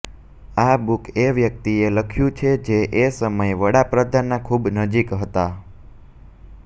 આ બુક એ વ્યક્તિએ લખ્યું છે જે એ સમયે વડા પ્રધાનના ખૂબ નજીક હતા